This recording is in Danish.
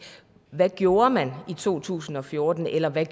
hvad de gjorde i to tusind og fjorten eller hvad